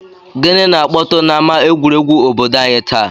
Gịnị na-akpọtụ n'ama egwuregwu obodo anyị taa?